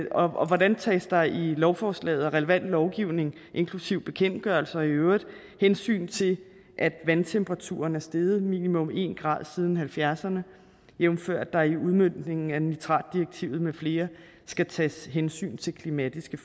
og og hvordan tages der i lovforslaget og relevant lovgivning inklusive bekendtgørelser i øvrigt hensyn til at vandtemperaturen er steget minimum en grad siden nitten halvfjerdserne jævnfør at der i udmøntningen af nitratdirektivet med flere skal tages hensyn til klimatiske